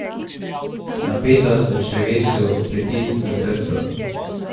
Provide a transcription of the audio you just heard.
Napetost v črevesju, pritisk v srcu.